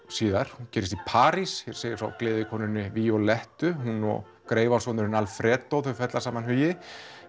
síðar hún gerist í París hér segir frá gleðikonunni Violettu hún og Alfredo fella saman hugi